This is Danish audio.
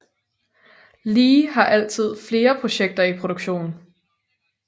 Lee har altid flere projekter i produktion